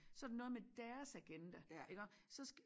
Så det noget med deres agenda iggå så skal